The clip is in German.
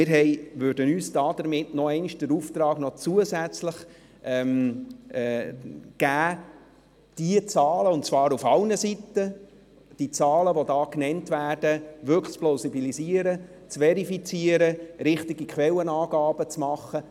Wir würden uns damit noch zusätzlich den Auftrag geben, die genannten Zahlen auf allen Seiten zu plausibilisieren, zu verifizieren und richtige Quellenangaben zu machen.